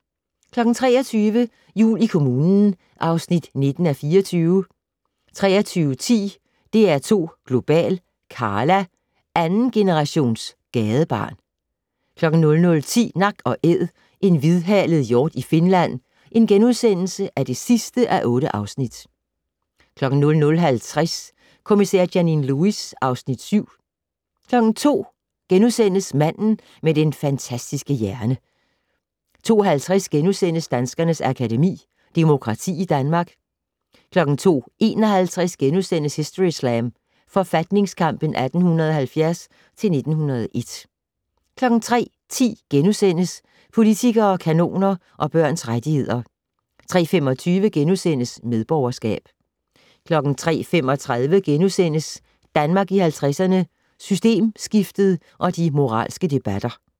23:00: Jul i kommunen (19:24) 23:10: DR2 Global: Karla - andengenerations gadebarn 00:10: Nak & Æd - en hvidhalet hjort i Finland (8:8)* 00:50: Kommissær Janine Lewis (Afs. 7) 02:00: Manden med den fantastiske hjerne * 02:50: Danskernes Akademi: Demokrati i Danmark * 02:51: Historyslam: Forfatningskampen 1870-1901 * 03:10: Politikere, kanoner og børns rettigheder * 03:25: Medborgerskab * 03:35: Danmark i 50'erne - Systemskiftet og de moralske debatter *